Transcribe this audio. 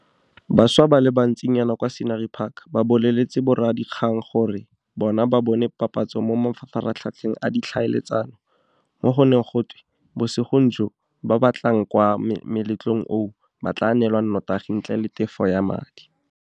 Bašwa ba le bantsinyana kwa Scenery Park ba boleletse boradikgang gore bona ba bone papatso mo mafaratlhatlheng a ditlhaeletsano, mo go neng go twe mo bosigong joo ba ba tla tlang kwa moletlong oo ba tla neelwa notagi ntle le tefo ya madi.